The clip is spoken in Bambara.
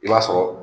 I b'a sɔrɔ